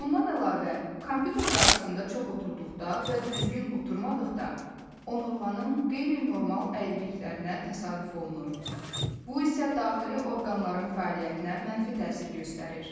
Bundan əlavə, kompüter qarşısında çox oturduqda və düzgün oturmadıqda onurğanın qeyri-normal əyriliklərinə təsadüf olunur, bu isə daxili orqanların fəaliyyətinə mənfi təsir göstərir.